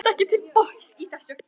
Hann kemst ekki til botns í þessu.